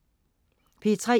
P3: